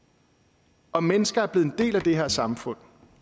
og de mennesker er blevet en del af det her samfund